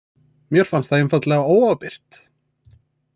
Mér fannst það einfaldlega óábyrgt